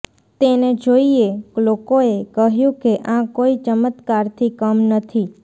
તેને જોઇએ લોકોએ કહ્યું કે આ કોઇ ચમત્કારથી કમ નથી